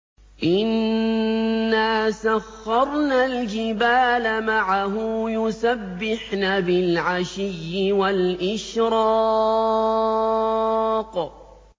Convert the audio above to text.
إِنَّا سَخَّرْنَا الْجِبَالَ مَعَهُ يُسَبِّحْنَ بِالْعَشِيِّ وَالْإِشْرَاقِ